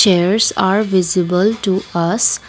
chairs are visible to us.